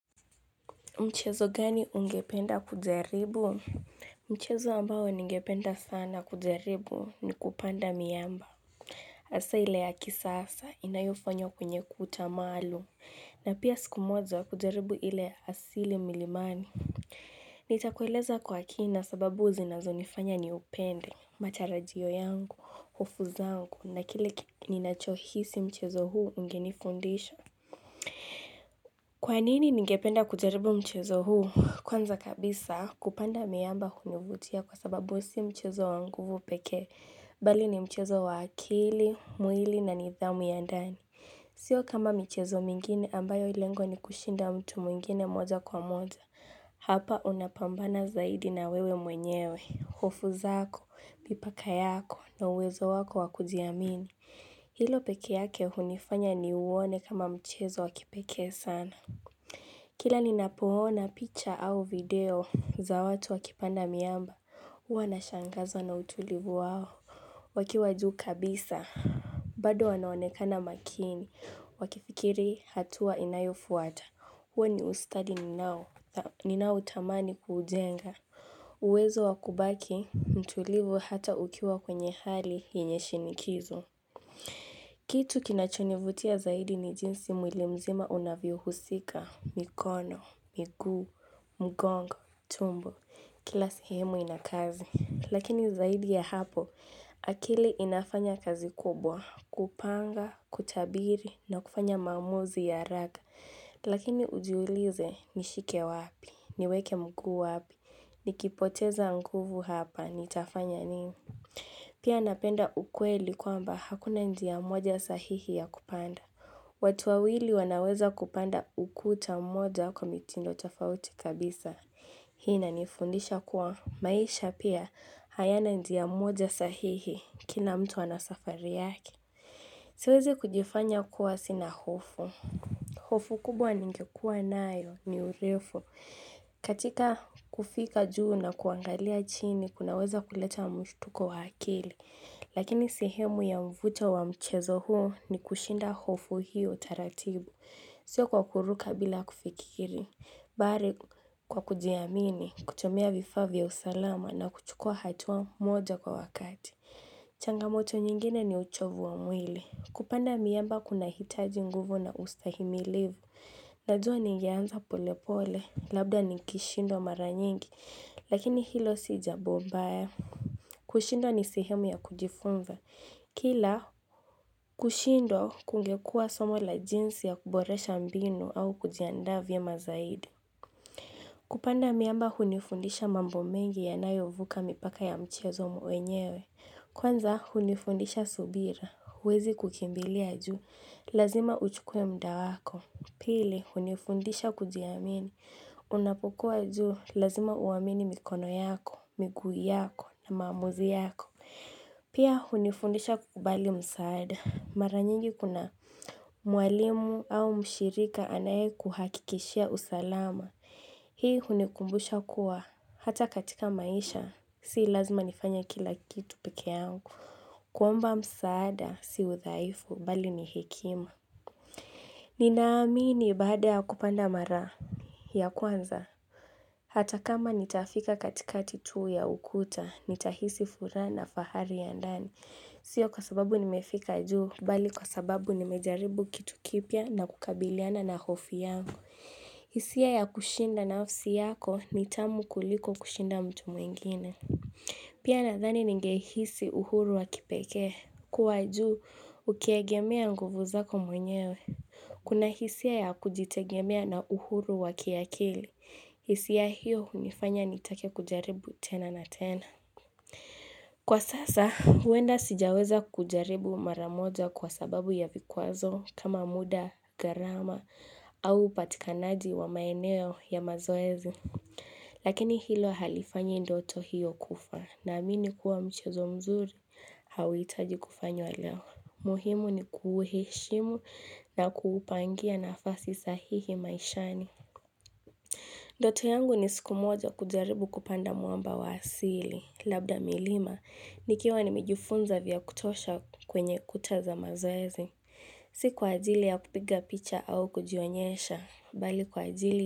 Mchezo gani ungependa kujaribu? Mchezo ambao ningependa sana kujaribu ni kupanda miamba. Hasa ile ya kisasa inayofanywa kwenye kuta maalum na pia siku moja kujaribu ile ya asili milimani. Nitakueleza kwa kina sababu zinazonifanya niupende, matarajio yangu, hofu zangu na kile ninachohisi mchezo huu ungenifundisha. Kwa nini ningependa kujaribu mchezo huu, kwanza kabisa kupanda miamba kunavutia kwa sababu si mchezo wa nguvu pekee, bali ni mchezo wa akili, mwili na nidhamu ya ndani. Sio kama michezo mingine ambayo lengo ni kushinda mtu mwingine moja kwa moja. Hapa unapambana zaidi na wewe mwenyewe, hofu zako, mipaka yako na uwezo wako wa kujiamini. Hilo peke yake hunifanya niuone kama mchezo wa kipekee sana. Kila ninapoona picture au video za watu wakipanda miamba. Huwa nashangazwa na utulivu wao wakiwa juu kabisa. Bado wanaonekana makini, wakifikiri hatua inayofuata. Huwa ni ustadi ninao, ninaotamani kuujenga. Uwezo wa kubaki, mtulivu hata ukiwa kwenye hali yenye shinikizo. Kitu kinachonivutia zaidi ni jinsi mwili mzima unavyohusika mikono, miguu, mgongo, tumbo Kila sehemu ina kazi Lakini zaidi ya hapo akili inafanya kazi kubwa kupanga, kutabiri na kufanya maamuzi ya raga Lakini ujiulize nishike wapi Niweke mguu wapi Nikipoteza nguvu hapa Nitafanya nini Pia napenda ukweli kwamba hakuna njia moja sahihi ya kupanda watu wawili wanaweza kupanda ukuta moja kwa mitindo tofauti kabisa Hii inanifundisha kuwa maisha pia hayana njia moja sahihi kila mtu ana safari yake Siwezi kujifanya kuwa sina hofu hofu kubwa ningekuwa nayo ni urefu katika kufika juu na kuangalia chini kunaweza kuleta mshtuko wa akili Lakini sehemu ya mvuto wa mchezo huo ni kushinda hofu hiyo taratibu, siyo kwa kuruka bila kufikiri. Bali kwa kujiamini, kutumia vifaa vya usalama na kuchukua hatua moja kwa wakati. Changamoto nyingine ni uchovu wa mwili. Kupanda miamba kunahitaji nguvu na ustahimilivu. Najua ningeanza polepole, labda ningeshindwa mara nyingi, lakini hilo si jambo mbaya. Kushindwa ni sehemu ya kujifunza, kila kushindwa kungekuwa somo la jinsi ya kuboresha mbinu au kujiandaa vyema zaidi kupanda miamba hunifundisha mambo mengi yanayo vuka mipaka ya mchezo mwenyewe Kwanza hunifundisha subira, huwezi kukimbilia juu, lazima uchukue muda wako Pili, hunifundisha kujiamini, unapokuwa juu, lazima uamini mikono yako, miguu yako, na maamuzi yako Pia hunifundisha kukubali msaada. Mara nyingi kuna mwalimu au mshirika anayekuhakikishia usalama. Hii hunikumbusha kuwa hata katika maisha. Si lazima nifanye kila kitu peke yangu. Kuomba msaada si udhaifu bali ni hekima. Ninaamini baada ya kupanda mara ya kwanza Hata kama nitafika katikati tu ya ukuta, nitahisi furaha na fahari ya ndani Sio kwa sababu nimefika juu Bali kwa sababu nimejaribu kitu kipya na kukabiliana na hofu yangu hisia ya kushinda nafsi yako ni tamu kuliko kushinda mtu mwingine Pia nadhani ningehisi uhuru wa kipekee kuwa juu, ukiegemea nguvu zako mwenyewe Kuna hisia ya kujitegemea na uhuru wa kiakili. Hisia hiyo hunifanya nitake kujaribu tena na tena. Kwa sasa, huenda sijaweza kujaribu mara moja kwa sababu ya vikwazo kama muda, gharama au upatikanaji wa maeneo ya mazoezi. Lakini hilo halifanyi ndoto hiyo kufa naamini kuwa mchazo mzuri, hauhitaji kufanywa leo. Muhimu ni kuuheshimu na kuupangia na nafasi sahihi maishani. Ndoto yangu ni siku moja kujaribu kupanda mwamba wa asili. Labda milima, nikiwa nimejifunza vya kutosha kwenye kuta za mazoezi. Si kwa ajili ya kupiga picha au kujionyesha, bali kwa ajili.